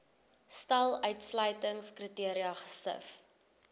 stel uitsluitingskriteria gesif